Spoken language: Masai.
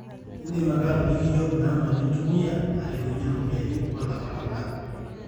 indim ake atoliki iyiook namba nintumia arewunye ropiyani olapa lola